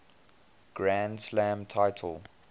grand slam title